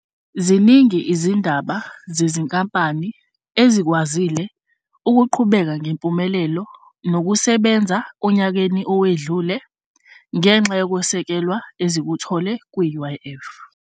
Ziningi izindaba zezinkampani ezikwazile ukuqhubeka ngempumelelo nokusebenza onyakeni owedlule ngenxa yokwesekelwa ezikuthole kwi-UIF.